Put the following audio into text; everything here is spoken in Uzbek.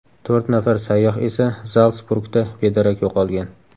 To‘rt nafar sayyoh esa Zaltsburgda bedarak yo‘qolgan.